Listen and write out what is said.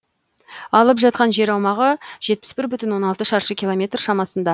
алып жатқан жер аумағы жетпіс бір бүтін оннан алты шаршы километр шамасында